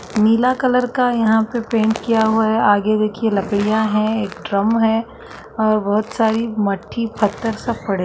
नीला colour का यहाँ पे पैंट किया हुआ है आगे भी की लकडिया है एक ड्रम है और बहोत सारी मट्ठी पत्थर सब पड़े --